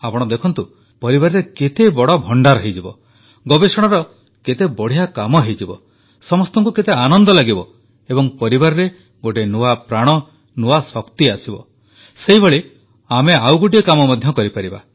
ଆପଣ ଦେଖନ୍ତୁ ପରିବାରରେ କେତେବଡ଼ ଭଣ୍ଡାର ହୋଇଯିବ ଗବେଷଣାର କେତେ ବଢ଼ିଆ କାମ ହୋଇଯିବ ସମସ୍ତଙ୍କୁ କେତେ ଆନନ୍ଦ ଲାଗିବ ଏବଂ ପରିବାରରେ ଗୋଟିଏ ନୂଆ ପ୍ରାଣ ନୂଆ ଶକ୍ତି ଆସିବ ସେହିଭଳି ଆମେ ଆଉ ଗୋଟିଏ କାମ ମଧ୍ୟ କରିପାରିବା